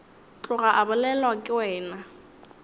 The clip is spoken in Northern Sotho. tloga a bolelwa ke wena